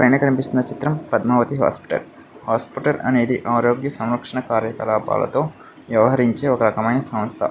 పైన కనిపిస్తున్న చిత్రం పద్మావతి హాస్పిటల్ . హాస్పిటల్ అనేది ఆరోగ్య సంరక్షణ కార్యకళాపాలతో వ్యవహరించే ఒక రకమైన సంస్థ.